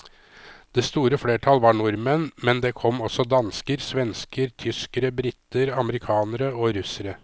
Det store flertall var nordmenn, men det kom også dansker, svensker, tyskere, briter, amerikanere og russere.